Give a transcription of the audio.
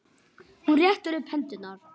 Hún rétti upp hendur.